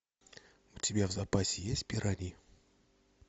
у тебя в запасе есть пираньи